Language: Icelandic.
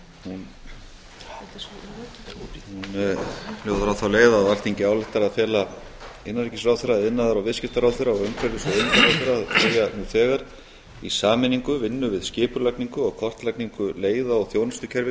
hún hljóðar á þá leið að alþingi ályktar að fela innanríkisráðherra iðnaðar og viðskiptaráðherra og umhverfis og auðlindaráðherra að hefja nú þegar í sameiningu vinnu við skipulagningu og kortlagningu leiða og þjónustukerfis